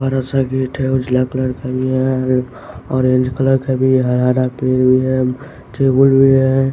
बड़ा सा गेट है उजला कलर का भी है ऑरेंज कलर का भी है हरा पेर भी है टेबुल भी है।